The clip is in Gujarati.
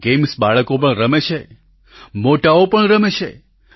આ ગેમ્સ બાળકો પણ રમે છે મોટાઓ પણ રમે છે